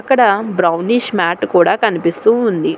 ఇక్కడ brownish mat కూడా కనిపిస్తూ ఉంది